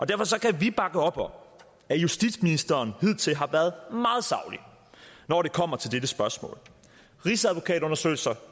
derfor kan vi bakke op om justitsministeren hidtil har været meget saglig når det kommer til dette spørgsmål rigsadvokatundersøgelser